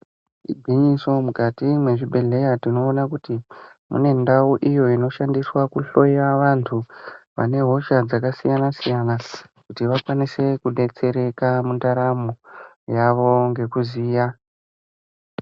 Igwinyiso mukati mwe zvibhedhleya tinoona kuti mune ndau iyo inoshandiswa ku hloya vantu vane hosha dzaka siyana siyana kuti vakwanise ku detsereka mu ndaramo yavo nge kuziya.